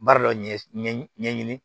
Baara dɔ ɲɛɲini